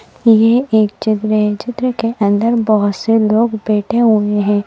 यह एक चित्र है चित्र के अंदर बहुत से लोग बैठे हुए हैं।